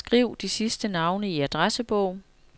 Skriv de sidste navne i adressebog.